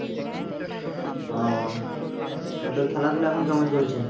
ও নিয়ে তোর খেলাধুলো এখন কেমন চলছে?